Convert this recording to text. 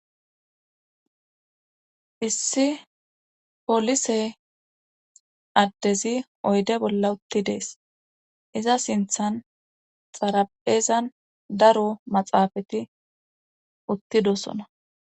issi polise addezi oyde bolla utti dees iza sinthan xaraphezan daro maxaafati uttidosona